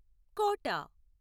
కోట